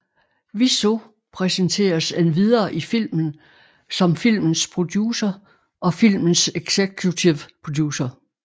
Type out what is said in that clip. Wiseau præsenteres endvidere i filmen som filmens producer og filmens executive producer